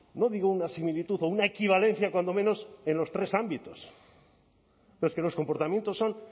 no digo una similitud o una equivalencia cuando menos en los tres ámbitos pero es que los comportamientos son